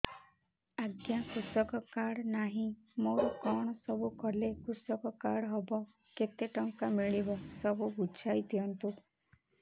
ଆଜ୍ଞା କୃଷକ କାର୍ଡ ନାହିଁ ମୋର କଣ ସବୁ କଲେ କୃଷକ କାର୍ଡ ହବ କେତେ ଟଙ୍କା ମିଳିବ ସବୁ ବୁଝାଇଦିଅନ୍ତୁ